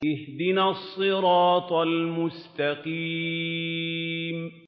اهْدِنَا الصِّرَاطَ الْمُسْتَقِيمَ